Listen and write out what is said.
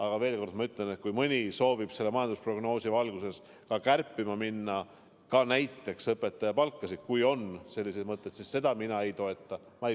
Aga ma ütlen ka seda, et kui mõni soovib majandusprognoosi valguses minna näiteks õpetajate palkasid kärpima, siis seda mina ei toeta.